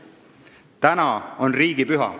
Täna on riigipüha.